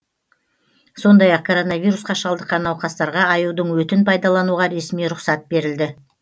сондай ақ коронавирусқа шалдыққан науқастарға аюдың өтін пайданалуға ресми рұқсат берілді